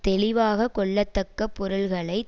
தெளிவாக கொள்ளத்தக்க பொருள்களை